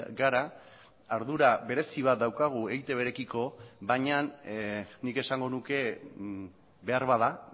gara ardura berezi bat daukagu eitbrekiko baina nik esango nuke beharbada